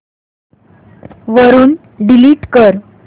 वरून डिलीट कर